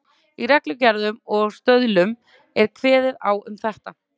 Í reglugerðum og stöðlum er kveðið á um þetta.